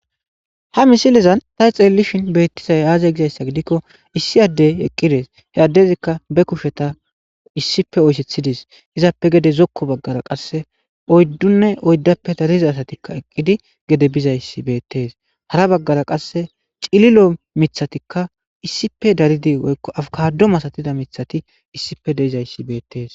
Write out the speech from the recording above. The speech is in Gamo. ha misilezan ta xeellishin beettizay aazey gizayssa gidikko issi addey eqqides he addezikka be kusheta issippe oysethidis izappe gede zokko baggara qasse oyddunne oyddappe dariza asatikka eqqidi gede bizayssi beettees hara baggara qasse cililo mithatikka issipe daridi woykko afkado masatida mithati issife deizayssi beettees